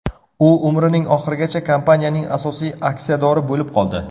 U umrining oxirigacha kompaniyaning asosiy aksiyadori bo‘lib qoldi.